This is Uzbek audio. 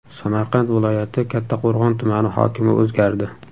Samarqand viloyati Kattaqo‘rg‘on tumani hokimi o‘zgardi.